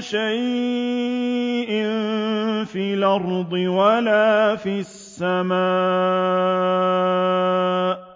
شَيْءٍ فِي الْأَرْضِ وَلَا فِي السَّمَاءِ